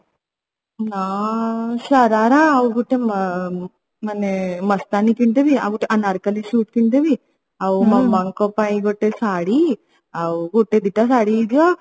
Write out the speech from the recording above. ହଁ ଶରାରା ଆଉ ଗୋଟେ ମ ମାନେ ମସ୍ତାନି କିଣିଦେବି ଆଉ ଗୋଟେ ଅନାରକଲ୍ଲୀ ସୁଟ କିଣିଦେବି ଆଉ ମାମାଙ୍କ ପାଇଁ ଗୋଟେ ଶାଢ଼ୀ ଆଉ ଗୋଟେ ଦିଟା ଶାଢ଼ୀ ହେଇଯିବ